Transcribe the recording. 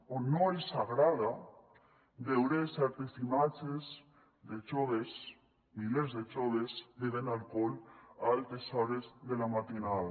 o no els agrada veure certes imatges de joves milers de joves bevent alcohol a altes hores de la matinada